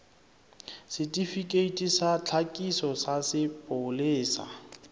setifikeiti sa tlhakiso sa sepolesa